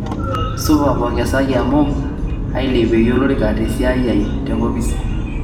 supa pongesaki amu ailepieki olorika te siai aai tenkopis